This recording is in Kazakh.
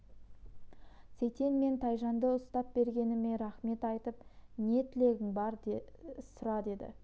сейтен мен тайжанды ұстап бергеніме рақмет айтып не тілегің бар сұра деді